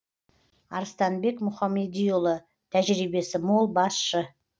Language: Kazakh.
арыстанбек мұхамедиұлы тәжірибесі мол басшы